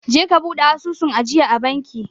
Je ka bude asusun ajiyaa a banki